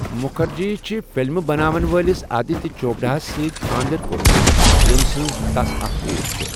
مُكھرجی چھِ فِلمہٕ بناون وٲلِس آدِتہِ چوپڈاہس سۭتۍ خاندر كوٚرمُت ،ییمہِ سٕنز تس اكھ كوٗر چھے٘۔